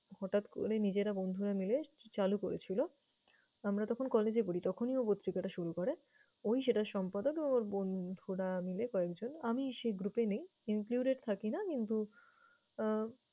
হঠাৎ করে নিজেরা বন্ধুরা মিলে চ~চালু করেছিল। আমরা তখন college এ পড়ি, তখনই ও পত্রিকাটা শুরু করে। ও-ই সেটার সম্পাদক ওর বন্ধুরা মিলে কয়েকজন আমি সেই group এ নেই, included থাকি না কিন্তু আহ